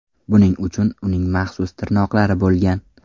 Buning uchun uning maxsus tirnoqlari bo‘lgan.